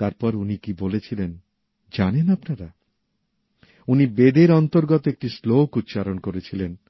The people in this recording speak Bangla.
তারপর উনি কি বলেছিলেন জানেন আপনারা উনি বেদের অন্তর্গত একটি শ্লোক উচ্চারণ করেছিলেন